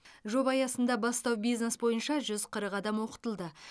жоба аясында бастау бизнес бойынша жүз қырық адам оқытылды